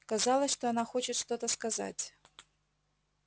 казалось что она хочет что-то сказать